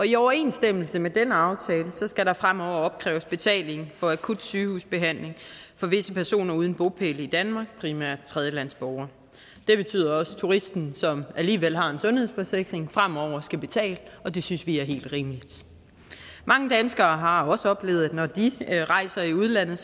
i overensstemmelse med den aftale skal der fremover opkræves betaling for akut sygehusbehandling for visse personer uden bopæl i danmark primært tredjelandsborgere det betyder også at turisten som alligevel har en sundhedsforsikring fremover skal betale og det synes vi er helt rimeligt mange danskere har også oplevet at de når de rejser i udlandet